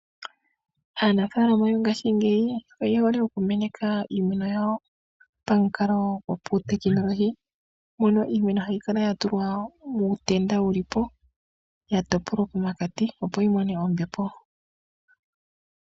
Aanafaalama yongashingeyi, oye hole oku meneka iimeno yawo pamukalo gwopautekinologi, mono iimeno ha yi kala ya tulwa muutenda wulipo, ya topolwa pomakati, opo yi mone ombepo.